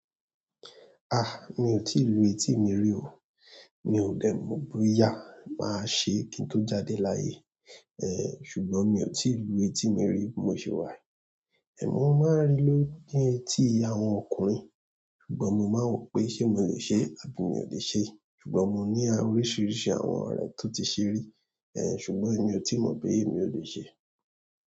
Ah! Mi ò tíì lu etí mi rí o. Mi ò dẹ̀ mọ boyá máa ṣe kí n tó jáde láàyè. Eh ṣùgbọ́n mí o tí lu etí mi ri bímo ṣe wa yí amọ́ mo máa ń rí ló jé etí àwọn ọkùnrin, ṣùgbọ́n mo máa ń wò pé ṣé mo lè ṣe é àbí mi ò lè ṣe é. Ṣùgbọ́n mo ní a oríṣiríṣi àwọn ọ̀rẹ́ tó ti ṣe rí, eh, ṣùgbọ́n mi ò tí mọ̀ pé èmi ò lè ṣe é.